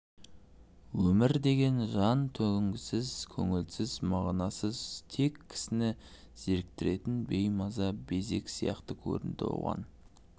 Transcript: өмір деген жан төзгісіз көңілсіз мағынасыз тек кісіні зеріктіретін беймаза безек сияқты көрінді оған